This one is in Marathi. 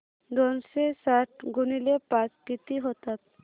दोनशे साठ गुणिले पाच किती होतात